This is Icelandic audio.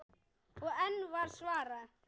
Og enn var svarað